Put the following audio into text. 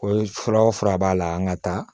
Ko fura o fura b'a la an ka taa